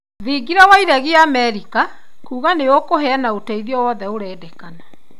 Thingira wa iregi Amerika kuga nĩ ũkũheana ũteithio wothe ũrendeka.